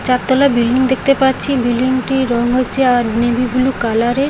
চারতলা বিল্ডিং দেখতে পাচ্ছি বিল্ডিং -টির রং হয়েছে আর নেভি ব্লু কালার -এর।